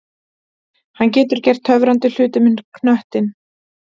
Hann getur gert töfrandi hluti með knöttinn.